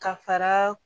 Ka fara